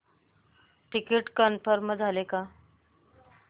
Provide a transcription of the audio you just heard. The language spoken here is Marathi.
टिकीट कन्फर्म झाले का